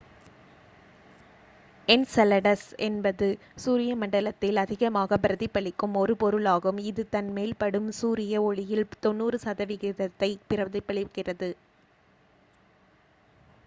Enceladus என்பது சூரிய மண்டலத்தில் அதிகமாகப் பிரதிபலிக்கும் ஒரு பொருளாகும் இது தன் மேல் படும் சூரிய ஒளியில் 90 சதவிகிதத்தைப் பிரதிபலிக்கிறது